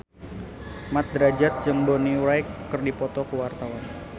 Mat Drajat jeung Bonnie Wright keur dipoto ku wartawan